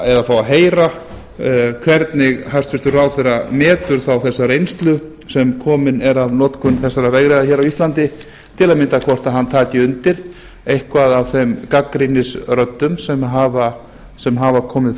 eða fá að heyra hvernig hæstvirtur ráðherra metur þá þessa reynslu sem komin er af notkun þessara vegriða hér á íslandi til að mynda hvort hann taki undir eitthvað af þeim gagnrýnisröddum sem hafa komið